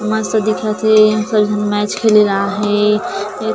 मस्त दिखत हे यहाँ सब झन मैच खेले ल आये हे ए--